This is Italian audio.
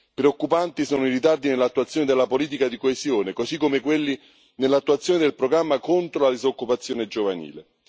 Preoccupanti sono i ritardi nell'attuazione della politica di coesione, così come quelli nell'attuazione del programma contro la disoccupazione giovanile.